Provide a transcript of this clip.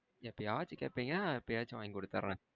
எப்பயாச்சும் கேப்பிங்க எப்பயாச்சு வாங்கி குடுத்துற.